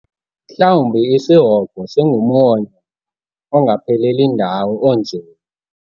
Mhlawumbi isihogo singumwonyo ongapheleli ndawo onzulu.